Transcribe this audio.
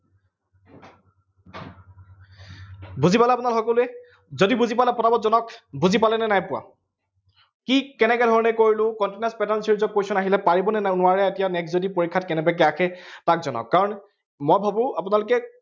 বুজি পালে আপোনালোকে সকলোৱে, যদি বুজি পোৱা নাই পটাপট জনাওঁক, বুজি পালনে নাই পোৱা? কি কেনেকে ধৰণে কৰিলো, continuous pattern series ৰ question আহিলে পাৰিবনে নোৱাৰে এতিয়া। next যদি পৰীক্ষাত কেনেবাকে আহে, তাক জনাওক, কাৰন মই ভাবো আপোনালোকে